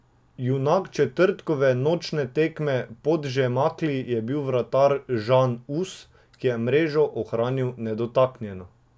Junak četrtkove nočne tekme v Podmežakli je bil vratar Žan Us, ki je mrežo ohranil nedotaknjeno.